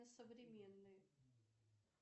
современный